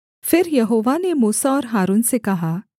फिर यहोवा ने मूसा और हारून से कहा